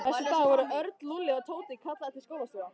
Næsta dag voru Örn, Lúlli og Tóti kallaðir til skólastjóra.